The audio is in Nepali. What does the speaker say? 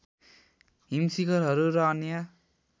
हिम शिखरहरू र अन्य